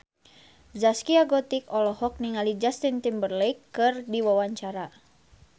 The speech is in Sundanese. Zaskia Gotik olohok ningali Justin Timberlake keur diwawancara